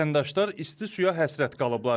Vətəndaşlar isti suya həsrət qalıblar.